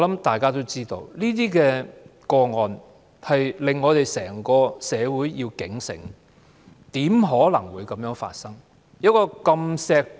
大家都知道，這些個案警醒整個社會，怎可能會發生這樣的事？